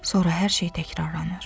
Sonra hər şey təkrarlanır.